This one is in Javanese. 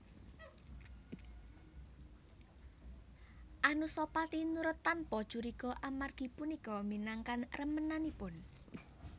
Anusapati nurut tanpa curiga amargi punika minangkan remenanipun